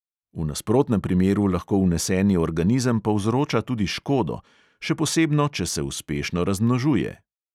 V nasprotnem primeru lahko vneseni organizem povzroča tudi škodo, še posebno če se uspešno razmnožuje.